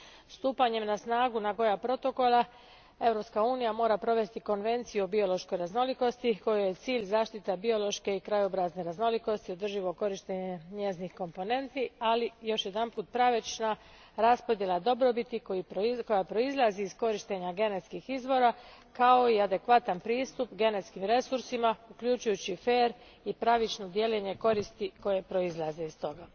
Stupanjem na snagu Nagoya protokola, Europska unija mora provesti konvenciju o biološkoj raznolikosti kojoj je cilj zaštita biološke i krajobrazne raznolikosti, održivo korištenje njezinih komponenti, ali još jedanput pravična raspodjela dobrobiti koja proizlazi iz korištenja genetskih izvora, kao i adekvatan pristup genetskim resursima uključujući fer i pravično dijeljenje koristi koje proizlaze iz toga.